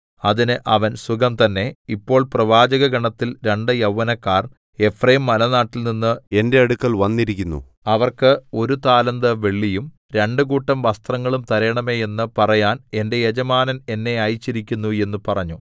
അതിന് അവൻ സുഖം തന്നേ ഇപ്പോൾ പ്രവാചക ഗണത്തില്‍ രണ്ടു യൗവനക്കാർ എഫ്രയീംമലനാട്ടിൽനിന്ന് എന്റെ അടുക്കൽ വന്നിരിക്കുന്നു അവർക്ക് ഒരു താലന്ത് വെള്ളിയും രണ്ടുകൂട്ടം വസ്ത്രങ്ങളും തരണമേ എന്ന് പറയാൻ എന്റെ യജമാനൻ എന്നെ അയച്ചിരിക്കുന്നു എന്ന് പറഞ്ഞു